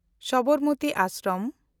Sabarmati Ashram